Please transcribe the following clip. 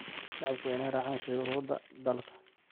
Shacabku waa in ay raacaan shuruucda dalka.